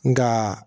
Nka